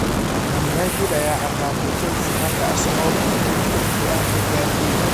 Man United ayaa ciqaabtay Chelsea halka Arsenal ay guul dirqi ah ka gaartay Newcastle